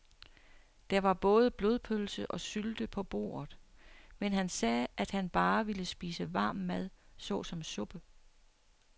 Der var både blodpølse og sylte på bordet, men han sagde, at han bare ville spise varm mad såsom suppe.